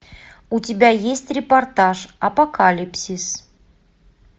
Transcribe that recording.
у тебя есть репортаж апокалипсис